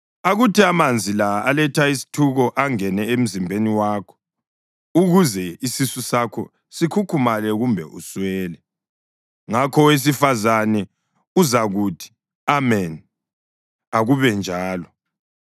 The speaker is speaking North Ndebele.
Akuthi amanzi la aletha isithuko angene emzimbeni wakho ukuze isisu sakho sikhukhumale kumbe uswele.” Ngakho owesifazane uzakuthi, “Ameni. Akube njalo.”